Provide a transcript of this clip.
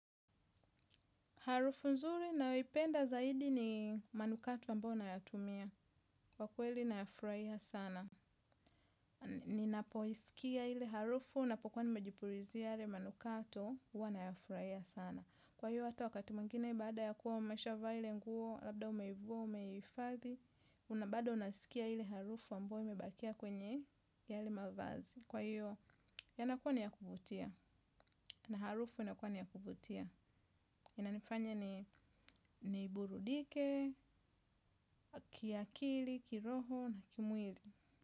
Harufu nzuri nayoipenda zaidi ni manukato ambayo nayatumia. Kwa kweli nayafurahia sana. Ninapoisikia ile harufu napokuwa nimejipurizia yale manukato huwa nayafurahia sana. Kwa hiyo hata wakati mwingine baada ya kuwa umeshavaa ile nguo, labda umeivua umehifadhi. Na bado nasikia ile harufu ambayo imebakia kwenye yale mavazi. Kwa hiyo yanakuwa ni ya kuvutia. Na harufu yanakuwa ni ya kuvutia. Inanifanya ni burudike, kiakili, kiroho na kimwili.